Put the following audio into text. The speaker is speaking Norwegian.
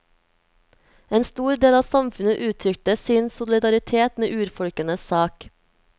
En stor del av samfunnet uttrykte sin solidaritet med urfolkenes sak.